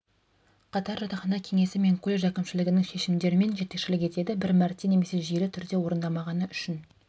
қатар жатақхана кеңесі мен колледж әкімшілігінің шешімдерімен жетекшілік етеді бір мәрте немесе жүйелі түрде орындамағаны үшін